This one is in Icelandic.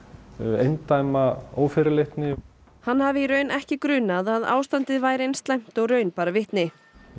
eindæma ófyrirleitni hann hafi í raun ekki grunað að ástandið væri eins slæmt og raun bar vitni